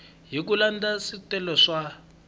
hi ku landza swiletelo swa